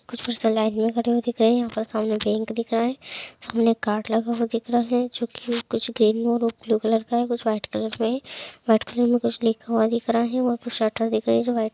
लगे हुए दिख रहे हैं यहाँ पे सामने बैंक दिख रहा है सामने एक कार्ड लगा हुआ दिख रहा हैंजो जो की ब्लू कलर कुछ व्हाइट कलर मे कुछ लिखा हुआ हैं और कुछ शर्ट दिख रहा हैं जो की व्हाइट --